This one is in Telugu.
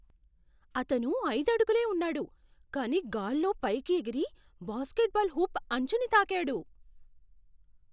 అతను ఐదు అడుగులే ఉన్నాడు, కానీ గాల్లో పైకి ఎగిరి బాస్కెట్బాల్ హోప్ అంచుని తాకాడు.